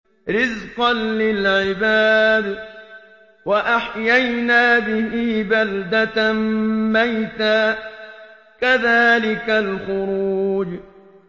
رِّزْقًا لِّلْعِبَادِ ۖ وَأَحْيَيْنَا بِهِ بَلْدَةً مَّيْتًا ۚ كَذَٰلِكَ الْخُرُوجُ